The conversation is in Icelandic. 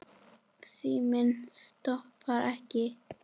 Síminn stoppar ekki.